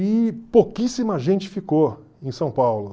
E pouquíssima gente ficou em São Paulo.